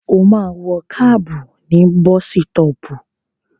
Ó máa wọ kábù ní bọ́sítọpù.